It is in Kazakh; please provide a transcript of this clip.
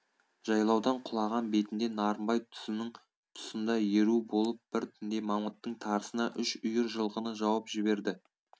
жайлаудан құлаған бетінде нарынбай тұзының тұсында еру болып бір түнде мамыттың тарысына үш үйір жылқыны жауып жіберді